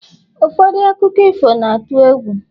ụfọdụ akụkọ ifo na-atụ egwu